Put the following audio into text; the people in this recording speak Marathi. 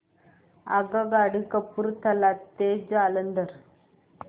आगगाडी कपूरथला ते जालंधर